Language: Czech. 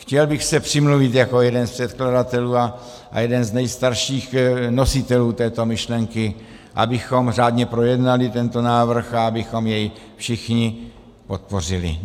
Chtěl bych se přimluvit jako jeden z předkladatelů a jeden z nejstarších nositelů této myšlenky, abychom řádně projednali tento návrh a abychom jej všichni podpořili.